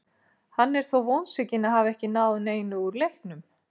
Hann er þó vonsvikinn að hafa ekki náð neinu úr leiknum.